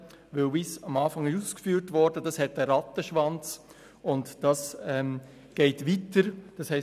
Das würde einen Rattenschwanz geben und weitergehen, wie bereits ausgeführt wurde.